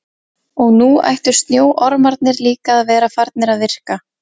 Og nú ættu snjóormarnir líka að vera farnir að virka.